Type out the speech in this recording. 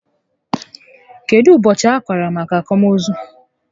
Kedụ ụbọchị a kara maka akwamozu?